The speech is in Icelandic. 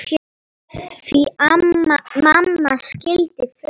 Því mamma skildi flest.